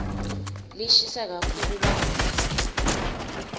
lishisa kakhulu lamuhla